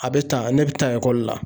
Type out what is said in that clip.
A bɛ tan, ne bɛ taa ekɔli la